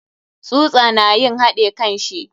Tsusa na yin haɗe kanshi.